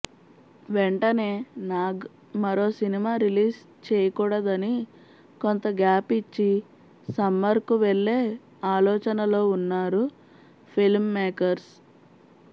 వెంటనే నాగ్ మరో సినిమా రిలీజ్ చేయకూడదని కొంత గ్యాప్ ఇచ్చి సమ్మర్కు వెళ్లే ఆలోచనలో ఉన్నారు ఫిల్మ్మే కర్స్